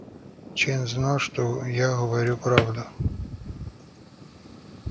чен знал что я говорю правду